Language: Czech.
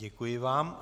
Děkuji vám.